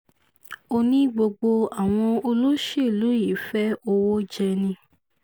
ó ní gbogbo àwọn olóṣèlú yìí fẹ́ẹ́ owó jẹ ni